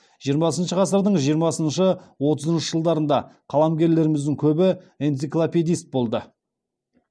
жиырмасыншы ғасырдың жиырмасыншы отызыншы жылдарында қаламгерлеріміздің көбі энциклопедист болды